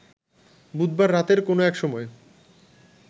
বুধবার রাতের কোনো এক সময়